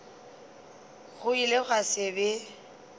go ile gwa se be